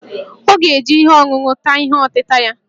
Ọ ga-eji ihe ọṅụṅụ ata ihe ọtịta ya